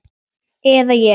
Eða ég.